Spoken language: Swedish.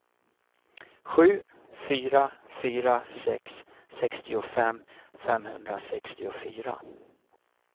sju fyra fyra sex sextiofem femhundrasextiofyra